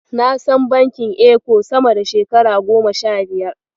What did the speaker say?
Na san bankin Eco sama da shekara goma sha biyar.